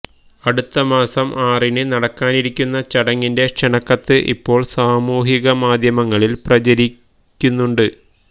അടുത്തമാസം ആറിന് നടക്കാനിരിക്കുന്ന ചടങ്ങിന്റെ ക്ഷണക്കത്ത് ഇപ്പോള് സാമൂഹിക മാധ്യമങ്ങളില് പ്രചരിക്കുന്നുണ്ട്